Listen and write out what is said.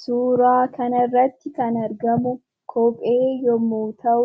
Suuraa kanarratti kan argamu kophee yommuu ta'u,